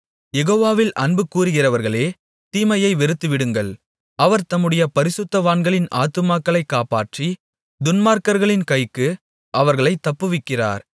யெகோவாவில் அன்புகூருகிறவர்களே தீமையை வெறுத்துவிடுங்கள் அவர் தம்முடைய பரிசுத்தவான்களின் ஆத்துமாக்களைக் காப்பாற்றி துன்மார்க்கர்களின் கைக்கு அவர்களைத் தப்புவிக்கிறார்